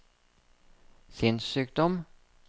sinnssykdom